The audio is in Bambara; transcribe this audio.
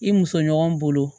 I muso ɲɔgɔn bolo